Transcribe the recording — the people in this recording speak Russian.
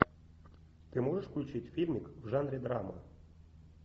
ты можешь включить фильмик в жанре драма